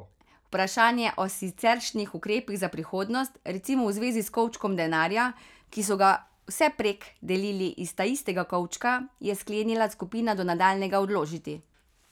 Vprašanje o siceršnjih ukrepih za prihodnost, recimo v zvezi s kovčkom denarja, ki so ga vsevprek delili iz taistega kovčka, je sklenila skupina do nadaljnjega odložiti.